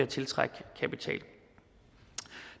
tiltrække kapital